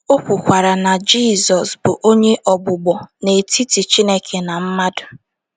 O kwukwara na Jizọs bụ “ onye ogbugbo n’etiti Chineke na mmadụ. ”